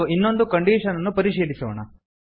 ಎಂದು ಇನ್ನೊಂದು ಕಂಡೀಶನ್ ಅನ್ನು ಪರಿಶೀಲಿಸೋಣ